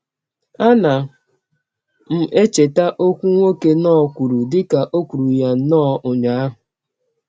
Ana m echeta ọkwụ nwoke Knorr kwuru dị ka ò kwụrụ ya nnọọ ụnyaahụ.